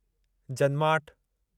जन्माठि